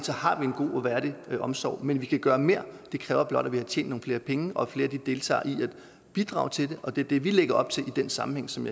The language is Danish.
har vi en god og værdig omsorg men vi kan gøre mere det kræver blot at vi har tjent nogle flere penge og at flere deltager i at bidrage til det og det er det vi lægger op til i den sammenhæng som